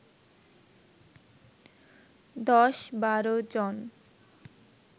১০-১২ জন